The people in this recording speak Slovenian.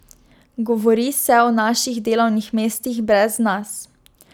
Govori se o naših delovnih mestih brez nas.